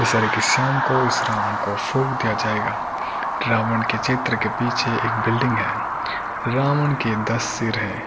इस तरह के शाम को इस रावण को फूक दिया जाएगा रावण के क्षेत्र के पीछे एक बिल्डिंग है रावण के दस सिर हैं।